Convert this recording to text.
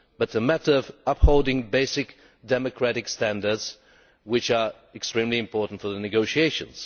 it is a matter of upholding basic democratic standards, which are extremely important for the negotiations.